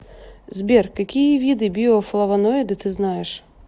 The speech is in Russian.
сбер какие виды биофлавоноиды ты знаешь